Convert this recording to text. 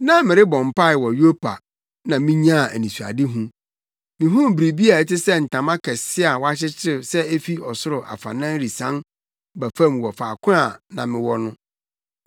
“Na merebɔ mpae wɔ Yopa na minyaa anisoadehu. Mihuu biribi a ɛte sɛ ntama kɛse a wɔakyekyere sɛ efi ɔsoro afanan resian ba fam wɔ faako a mewɔ no.